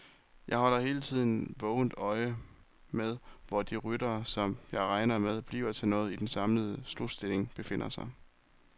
Jeg holder hele tiden vågent øje med, hvor de ryttere, som jeg regner med bliver noget i den samlede slutstilling, befinder sig.